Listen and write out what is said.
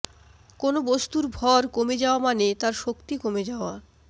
কোনো বস্তুর ভর কমে যাওয়া মানে তার শক্তি কমে যাওয়া